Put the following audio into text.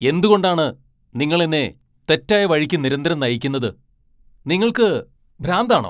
എന്തുകൊണ്ടാണ് നിങ്ങൾ എന്നെ തെറ്റായ വഴിക്ക് നിരന്തരം നയിക്കുന്നത്. നിങ്ങൾക്ക് ഭ്രാന്താണോ?